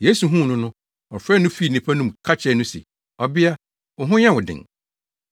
Yesu huu no no, ɔfrɛɛ no fii nnipa no mu ka kyerɛɛ no se, “Ɔbea, wo ho nyɛ wo den.”